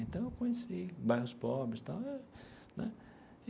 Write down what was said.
Então, eu conheci bairros pobres tal né.